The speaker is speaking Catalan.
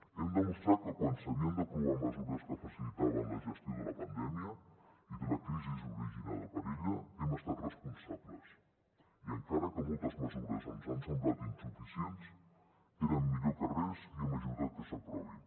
hem demostrat que quan s’havien d’aprovar mesures que facilitaven la gestió de la pandèmia i de la crisi originada per ella hem estat responsables i encara que moltes mesures ens han semblat insuficients eren millor que res i hem ajudat que s’aprovin